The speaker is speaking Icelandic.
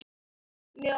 Mjög ólík.